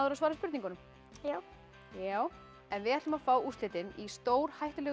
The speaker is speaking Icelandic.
svara spurningunum já við ætlum að fá úrslitin í stórhættulegu